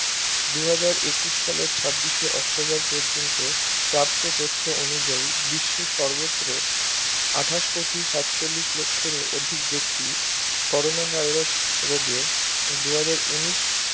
দু হাজার একুশ সালের ছাব্বিশে অক্টোবর পর্যন্ত প্রাপ্ত তথ্য অনুযায়ী বিশ্বের সর্বত্র আঠাশ কোটি সাতচল্লিশ লক্ষ্যের অধিক ব্যক্তি Corona Virus রোগে দু হাজার উনিশ